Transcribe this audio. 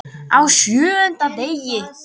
Á SJÖUNDA DEGI